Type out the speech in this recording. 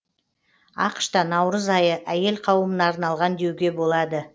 ақш та наурыз айы әйел қауымына арналған деуге болады